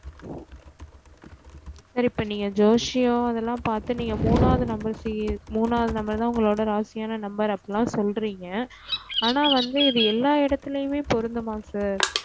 sir இப்போ நீங்க ஜோசியம் அதுலா பார்த்து நீங்க முனாவது numbers முனாவது number தா உங்களோட ராசியான number அப்டிலம் சொல்றிங்க ஆனா இது வந்து எல்லா இடதுலயுமே பொருந்ததும்மா sir